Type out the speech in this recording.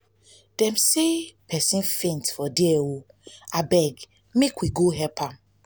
dem sey pesin faintt for there o abeg make we go help.